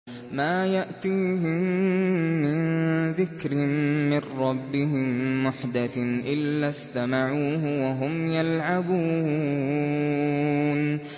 مَا يَأْتِيهِم مِّن ذِكْرٍ مِّن رَّبِّهِم مُّحْدَثٍ إِلَّا اسْتَمَعُوهُ وَهُمْ يَلْعَبُونَ